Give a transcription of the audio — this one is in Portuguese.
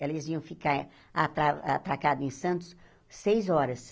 Eles iam ficar atra atracados em Santos seis horas.